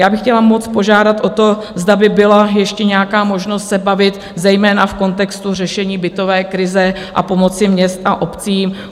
Já bych chtěla moc požádat o to, zda by byla ještě nějaká možnost se bavit, zejména v kontextu řešení bytové krize, a pomoci městům a obcím.